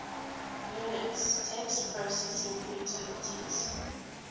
unix text processing utilities